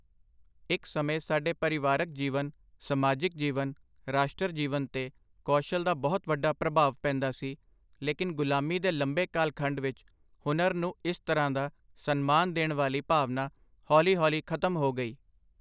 ਇੱਕ ਸਮੇਂ ਸਾਡੇ ਪਰਿਵਾਰਕ ਜੀਵਨ, ਸਮਾਜਿਕ ਜੀਵਨ, ਰਾਸ਼ਟਰ ਜੀਵਨ ਤੇ ਕੌਸ਼ਲ ਦਾ ਬਹੁਤ ਵੱਡਾ ਪ੍ਰਭਾਵ ਪੈਂਦਾ ਸੀ, ਲੇਕੀਨ ਗ਼ੁਲਾਮੀ ਦੇ ਲੰਬੇ ਕਾਲਖੰਡ ਵਿੱਚ ਹੁਨਰ ਨੂੰ ਇਸ ਤਰ੍ਹਾਂ ਦਾ ਸਨਮਾਨ ਦੇਣ ਵਾਲੀ ਭਾਵਨਾ ਹੌਲੀ ਹੌਲੀ ਖ਼ਤਮ ਹੋ ਗਈ।